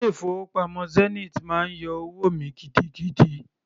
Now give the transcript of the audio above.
Ilé-ìfowópamọ́ Zenith máa ń yọ owó mi gidigidi.